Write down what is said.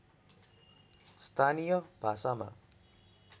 स्थानीय भाषामा